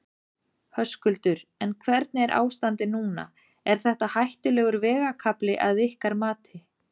Höskuldur: En hvernig er ástandið núna, er þetta hættulegur vegakafli að ykkar mati?